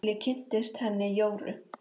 Þar til ég kynntist henni Jóru.